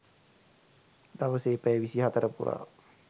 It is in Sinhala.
දවසේ පැය විසිහතර පුරා